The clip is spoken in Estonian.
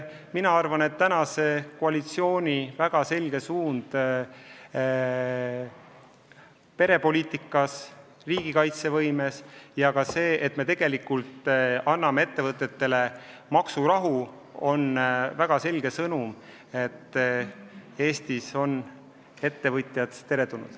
Mina arvan, et koalitsiooni väga selge suund perepoliitika ja riigi kaitsevõime tõhustamiseks, samuti see, et me tegelikult võimaldame ettevõtetele maksurahu, on väga selge sõnum, et Eestis on ettevõtjad teretulnud.